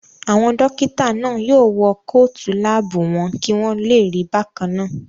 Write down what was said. Àwọn dókítà náà yóò wọ kóòtù láàbù wọn kí wọ́n lè rí bákannáà